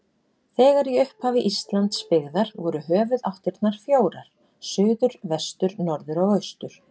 Þegar í upphafi Íslands byggðar voru höfuðáttirnar fjórar: suður, vestur, norður og austur.